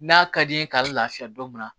N'a ka di n ye k'a lafiya don min na